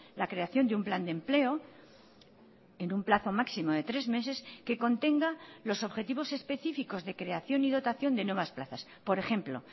la creación de un plan de empleo en un plazo máximo de tres meses que contenga los objetivos específicos de creación y dotación de nuevas plazas por ejemplo